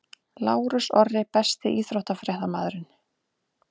Lárus Orri Besti íþróttafréttamaðurinn?